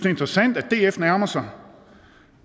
interessant at df nærmer sig